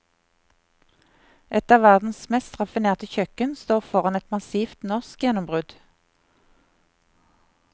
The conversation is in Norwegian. Et av verdens mest raffinerte kjøkken står foran et massivt norsk gjennombrudd.